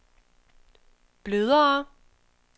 blødere